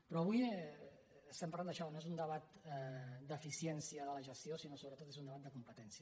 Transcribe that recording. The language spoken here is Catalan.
però avui estem parlant d’això no és un debat d’eficiència de la gestió sinó que sobretot és un debat de competències